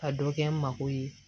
Ka dɔ kɛ n mako ye